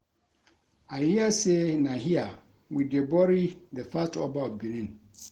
I hear say na here wey dey bury the first Oba of Benin